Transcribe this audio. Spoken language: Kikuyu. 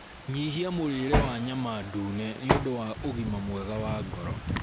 Nyihia mũrĩre wa nyama ndune nĩũndũ wa ũgima mwega wa ngoro